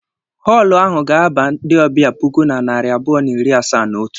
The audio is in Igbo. Họọlụ ahụ ga-aba ndị ọbịa puku na narị abụọ na iri asaa na otu.